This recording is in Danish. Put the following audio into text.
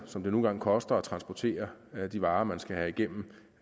som det nu engang koster at transportere de varer man skal have igennem